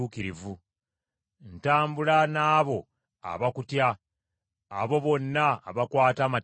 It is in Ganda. Ntambula n’abo abakutya, abo bonna abakwata amateeka go.